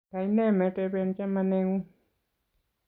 kaine meteben chamanengung?